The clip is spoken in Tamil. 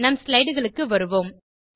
நம் ஸ்லைடுகளுக்கு வருவோம்